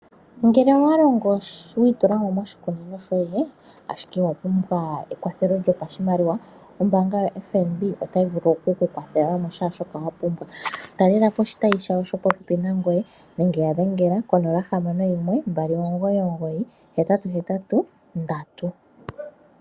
Ngele owalongo nuudhiginini moshikunino shoye no wi iyadha wapumbwa oshimaliwa , ombaanga yo FNB otayi kuyambidhidha. talelapo oshitayi shopopepi nangoye nenge wu yadhengele kongodhi yawo yomombelewa 061 299884